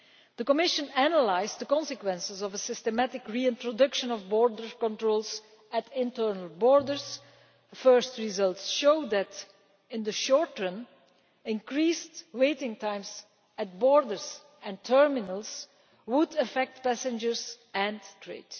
The Commission has analysed the consequences of a systematic reintroduction of border controls at internal borders. First results show that, in the short term, increased waiting times at borders and terminals would affect passengers and trade.